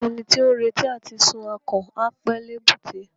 Ẹni tí ó ń retí àti sun akàn, á pẹ́ l'èbúté.